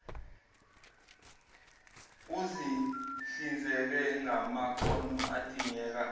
uzihlinzeke ngamakhono adingeka